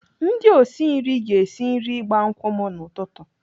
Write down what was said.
Ndị osi nri ga-esi nri ịgba nkwụ m n'ụtụtụ.